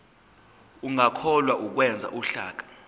ungakhohlwa ukwenza uhlaka